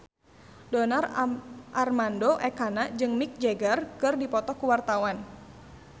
Donar Armando Ekana jeung Mick Jagger keur dipoto ku wartawan